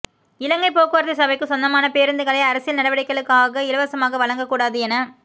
இலங்கை போக்குவரத்து சபைக்குச் சொந்தமான பேருந்துகளை அரசியல் நடவடிக்கைகளுக்காக இலவசமாக வழங்க கூடாது என